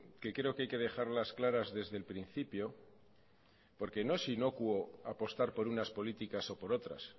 que creo que hay que dejarlas claras desde el principio porque no es inocuo apostar por unas políticas o por otras